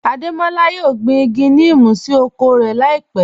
Adémọlá yóò gbín igi nímú sí oko rẹ láípẹ̀